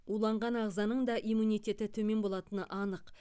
уланған ағзаның да иммунитеті төмен болатыны анық